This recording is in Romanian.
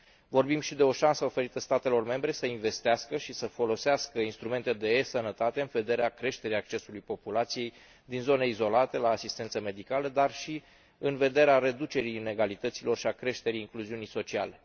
Vorbim și de o șansă oferită statelor membre să investească și să folosească instrumente de eSănătate în vederea creșterii accesului populației din zone izolate la asistență medicală, dar și în vederea reducerii inegalităților și a creșterii incluziunii sociale.